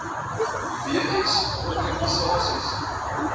w s organisasies